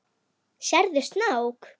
Sérðu snák?